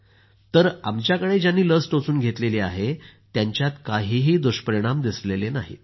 तर आमच्याकडे ज्यांनी लस टोचून घेतली आहे त्यांच्यात काहीही दुष्परिणाम दिसलेले नाहित